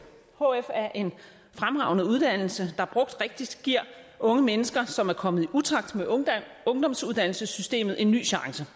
hf er en fremragende uddannelse der brugt rigtigt giver unge mennesker som er kommet i utakt med ungdomsuddannelsessystemet en ny chance